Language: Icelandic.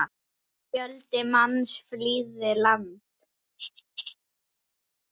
Fjöldi manns flýði land.